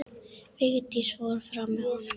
Vigdís fór fram með honum.